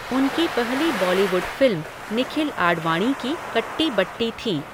उनकी पहली Bollywood film Nikhil Advani की कट्टी बट्टी थी।